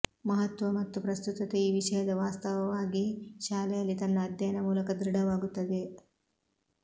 ಮಹತ್ವ ಮತ್ತು ಪ್ರಸ್ತುತತೆ ಈ ವಿಷಯದ ವಾಸ್ತವವಾಗಿ ಶಾಲೆಯಲ್ಲಿ ತನ್ನ ಅಧ್ಯಯನ ಮೂಲಕ ದೃಢವಾಗುತ್ತದೆ